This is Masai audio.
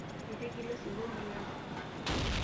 Etigila osiwuo emilanko.